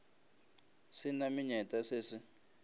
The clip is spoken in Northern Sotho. se na menyetla se se